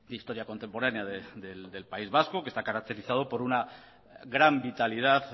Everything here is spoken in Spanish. historia contemporánea del país vasco que está caracterizado por una gran vitalidad